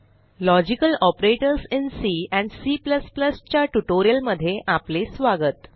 logical operators in C and C च्या ट्युटोरियलमध्ये आपले स्वागत